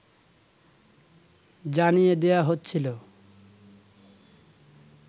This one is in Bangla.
জানিয়ে দেয়া হচ্ছিল